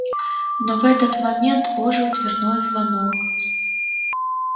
но в этот момент ожил дверной звонок